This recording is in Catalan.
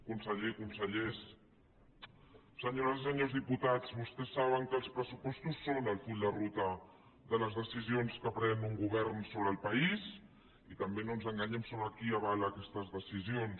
conseller consellers senyores i senyors diputats vostès saben que els pressupostos són el full de ruta de les decisions que pren un govern sobre el país i també no ens enganyem sobre qui avala aquestes decisions